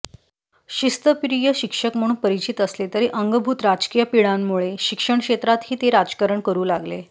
शिस्तप्रिय शिक्षक म्हणून परिचित असले तरी अंगभूत राजकीय पिंडामुळे शिक्षणक्षेत्रातही ते राजकारण करू लागले